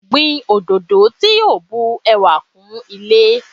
Gbin òdòdó tí yo bun ẹwà kún ilé